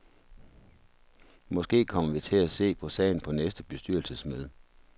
Måske kommer vi til at se på sagen på næste bestyrelsesmøde.